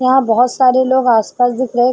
यहां बहुत सारे लोग आस-पास दिख रहे है।